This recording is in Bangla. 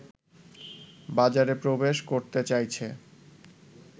বাজারে প্রবেশ করতে চাইছে